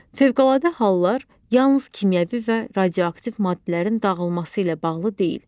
Fövqəladə hallar yalnız kimyəvi və radioaktiv maddələrin dağılması ilə bağlı deyil.